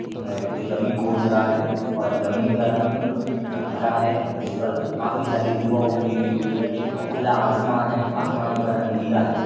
ए जो ज़मीन खोद रहा है और ज़मीन का रंग हरा हैँ जिसपर काफ़ी सारी हुई है और खुला आसमान है आसमान का रंग नीला है ।